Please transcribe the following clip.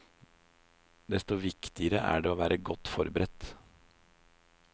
Desto viktigere er det å være godt forberedt.